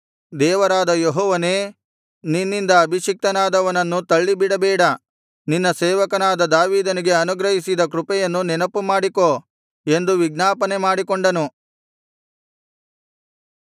ದೇವರಾದ ಯೆಹೋವನೇ ನಿನ್ನಿಂದ ಅಭಿಷಿಕ್ತನಾದವನನ್ನು ತಳ್ಳಿಬಿಡಬೇಡ ನಿನ್ನ ಸೇವಕನಾದ ದಾವೀದನಿಗೆ ಅನುಗ್ರಹಿಸಿದ ಕೃಪೆಯನ್ನು ನೆನಪುಮಾಡಿಕೋ ಎಂದು ವಿಜ್ಞಾಪನೆ ಮಾಡಿಕೊಂಡನು